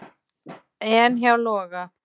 En hjá Loga?